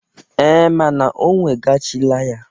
Ee, mana o wegachila ya.